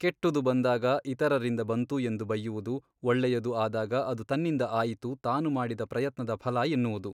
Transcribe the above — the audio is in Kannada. ಕೆಟ್ಟುದು ಬಂದಾಗ ಇತರರಿಂದ ಬಂತು ಎಂದು ಬಯ್ಯುವುದು ಒಳ್ಳೆಯದು ಆದಾಗ ಅದು ತನ್ನಿಂದ ಆಯಿತು ತಾನುಮಾಡಿದ ಪ್ರಯತ್ನದ ಫಲ ಎನ್ನುವುದು.